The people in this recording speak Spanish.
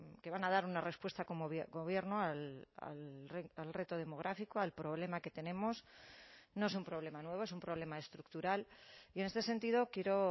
que van a dar una respuesta como gobierno al reto demográfico al problema que tenemos no es un problema nuevo es un problema estructural y en este sentido quiero